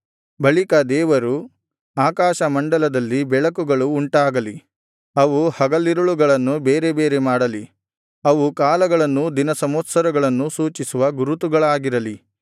ಬಳಿಕ ದೇವರು ಆಕಾಶ ಮಂಡಲದಲ್ಲಿ ಬೆಳಕುಗಳು ಉಂಟಾಗಲಿ ಅವು ಹಗಲಿರುಳುಗಳನ್ನು ಬೇರೆ ಬೇರೆ ಮಾಡಲಿ ಅವು ಕಾಲಗಳನ್ನೂ ದಿನಸಂವತ್ಸರಗಳನ್ನೂ ಸೂಚಿಸುವ ಗುರುತುಗಳಾಗಿರಲಿ